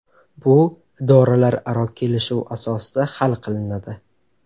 Bu idoralararo kelishuv asosida hal qilinadi.